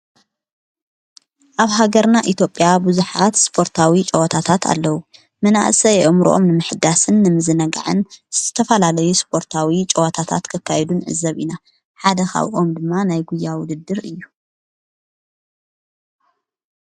ኣብ ሃገርና ኢትጴያ ብዙኃት ስጶርታዊ ጨዋታታት ኣለዉ መናእሰ የኦም ሮኦም ንምሕዳስን ምዝነግዕን ዝተፋላለዩ ስጶርታዊ ጨዋታታት ከካይዱን ዕዘብ ኢና ሓደኻውኦም ድማ ናይጕያ ውድድር እዩ።